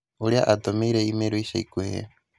ũrĩa atũmĩire i-mīrū ica ikuhĩ.